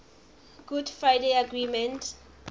good friday agreement